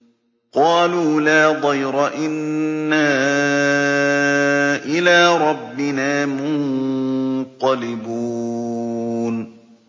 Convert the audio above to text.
قَالُوا لَا ضَيْرَ ۖ إِنَّا إِلَىٰ رَبِّنَا مُنقَلِبُونَ